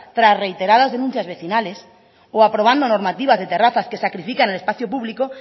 tras reiteradas denuncias vecinales o aprobando normativas de terrazas que sacrifican el espacio público